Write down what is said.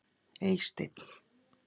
Eysteinn